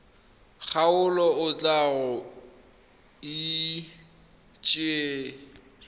kgaolo o tla go itsise